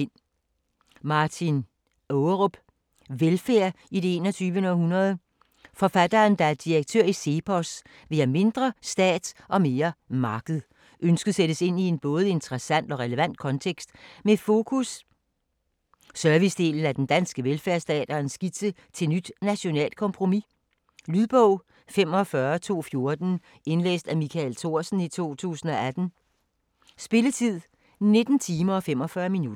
Ågerup, Martin: Velfærd i det 21. århundrede Forfatteren, der er direktør i CEPOS, vil have mindre stat og mere marked. Ønsket sættes ind i en både interessant og relevant kontekst med fokus servicedelen af den danske velfærdsstat og en skitse til et nyt nationalt kompromis. Lydbog 45214 Indlæst af Michael Thorsen, 2018. Spilletid: 19 timer, 45 minutter.